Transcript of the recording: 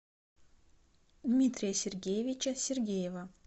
дмитрия сергеевича сергеева